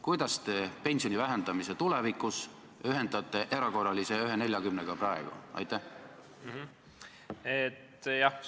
Kuidas te pensioni vähendamise tulevikus ühendate selle erakorralise 1,40-se tõusuga praegu?